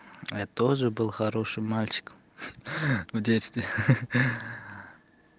я тоже был хороший мальчик в детстве